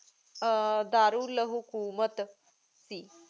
ਆਯ ਦਾਰੁਲ੍ਹਾਕੋਮਤ ਸੇ